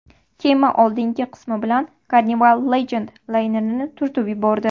Kema oldingi qismi bilan Carnival Legend laynerini turtib yubordi.